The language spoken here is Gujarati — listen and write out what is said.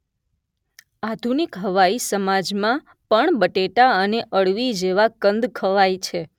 આધુનિક હવાઈ સમાજમાં પણ બટેટા અને અળવી જેવા કંદ ખવાય છે